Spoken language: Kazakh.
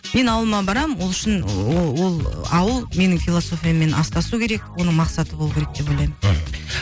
мен ауылыма барамын ол үшін ол ауыл менің философияммен астасу керек оның мақсаты болу керек деп ойлаймын мхм